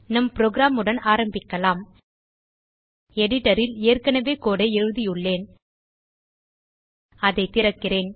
நம் புரோகிராம் உடன் ஆரம்பிக்கலாம் எடிட்டர் ல் ஏற்கனவே கோடு ஐ எழுதியுள்ளேன் அதை திறக்கிறேன்